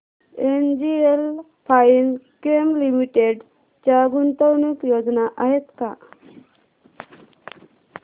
NGL Finechem limited च्या गुंतवणूक योजना आहेत का